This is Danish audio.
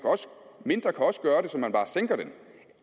mindre kan også gøre det så man bare sænker den